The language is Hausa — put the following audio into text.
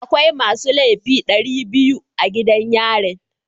Akwai masu laifi dari biyu a gidan yarin.